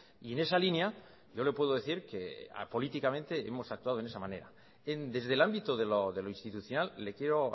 y en esa línea yo le puedo decir que apolíticamente hemos actuado en esa manera desde el ámbito de lo institucional le quiero